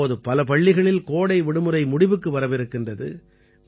இப்போது பல பள்ளிகளில் கோடை விடுமுறை முடிவுக்கு வரவிருக்கின்றது